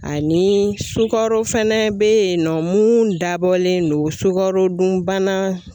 Ani sukaro fɛnɛ be yen nɔ mun dabɔlen don sukarodun bana